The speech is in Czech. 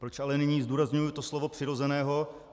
Proč ale nyní zdůrazňuji to slovo "přirozeného"?